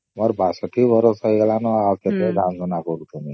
ମୋର ବାସ ସେତିକି ବରଷ ହେଇଗଲନ ନ ଆଉ କେତେ ଧାଁ ଧଉଡ କରୁଥିମି